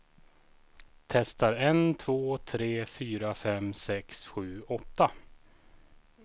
Testar en två tre fyra fem sex sju åtta.